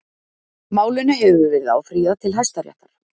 Málinu hefur verið áfrýjað til Hæstaréttar